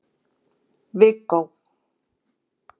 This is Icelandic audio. Viggó